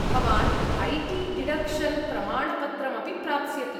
भवान् I T deduction प्रमाणपत्रमपि प्राप्स्यति।